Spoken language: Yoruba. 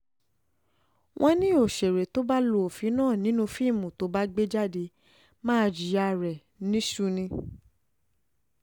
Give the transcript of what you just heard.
wọ́n ní òṣèré tó bá lu òfin náà nínú fíìmù tó bá gbé jáde máa jiyàn rẹ̀ níṣu ni